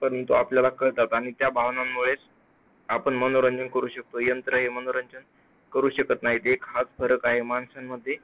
परंतु आपल्याला कळतात आणि त्या भावनांमुळेच आपण मनोरंजन करू शकतो. यंत्र हे मनोरंजन करू शकत नाही. हाच फरक आहे माणसांमध्ये